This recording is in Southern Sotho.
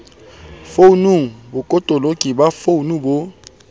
founung botoloki ba founu bo